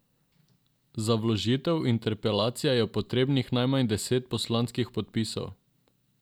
Za vložitev interpelacije je potrebnih najmanj deset poslanskih podpisov.